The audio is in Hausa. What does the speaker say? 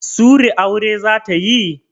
Sury aure zata yi?